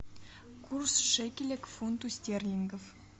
курс шекеля к фунту стерлингов